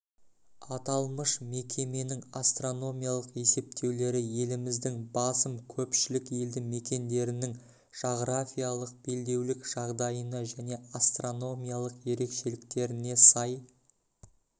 аталмыш мекеменің астрономиялық есептеулері еліміздің басым көпшілік елдімекендерінің жағрафиялық белдеулік жағдайына және астрономиялық ерекшеліктеріне сай